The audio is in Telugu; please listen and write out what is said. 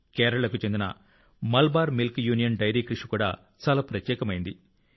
కేరళకు చెందిన మలబార్ మిల్క్ యూనియన్ డెయిరీ కృషి కూడా చాలా ప్రత్యేకమైంది